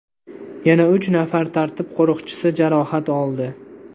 Yana uch nafar tartib qo‘riqchisi jarohat oldi.